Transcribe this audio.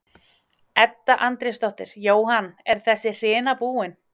Edda Andrésdóttir: Jóhann, er þessi hrina búin?